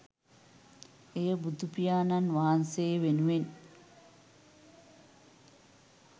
එය බුදුපියාණන් වහන්සේ වෙනුවෙන්